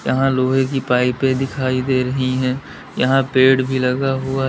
यहां लोहे की पाइपें दिखाई दे रही हैं यहां पेड़ भी लगा हुआ--